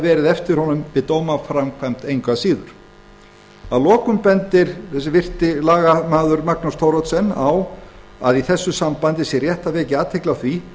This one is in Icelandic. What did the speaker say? verið farið eftir honum við dómaframkvæmd að lokum bendir hinn virti lagamaður magnús thoroddsen á að í þessu sambandi sé rétt að vekja athygli á því